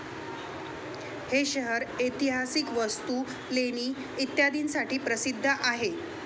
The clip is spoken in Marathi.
हे शहर ऐतिहासिक वस्तू, लेणी इत्यादींसाठी प्रसिद्ध आहे.